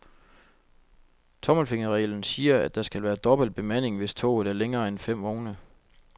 Tommelfingerreglen siger, at der skal være dobbelt bemanding, hvis toget er længere end fem vogne.